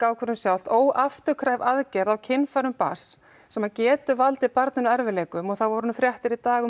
ákvörðun sjálft óafturkræf aðgerð á kynfærum barns sem getur valdið barninu erfiðleikum og það voru nú fréttir í dag